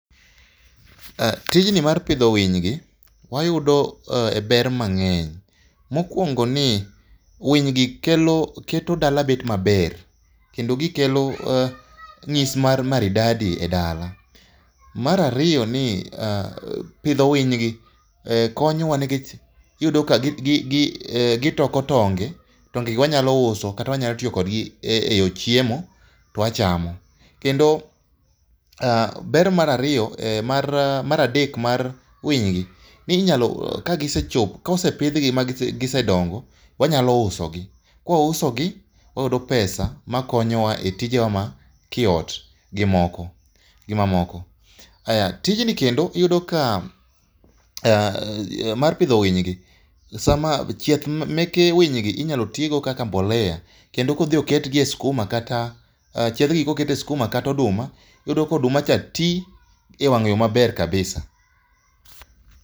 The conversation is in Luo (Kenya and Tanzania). Tijni mar pidho winy gi wayudo e ber mang'eny ,mokuongo en ni winy gi keto dala bet maber, kendo gikelo nyis mar maridadi e dala ,mar ariyo pidho winy gi konyo wa nikech iyudo ka gitoko tonge, onge go wanyalo uso kata wanyalo tiyo go e chiemo to wachamo ,kendo ber mar ariyo mar adek mar winy gi kose pidh gi ma gi se dongo wanyalo uso gi ,kawa uso gi wayudo pesa makonyowa e tije wa ma kiot gi mamoko, tijni kendo iyudo ka yor mar pidho winy gi ,chieth meke winy gi inyalo ti go kaka mbolea kendo ka odhi oket gi e skuma kata oduma ,iyudo ka oduma ka ti e yo maber kabisa